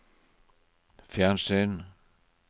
fjernsyn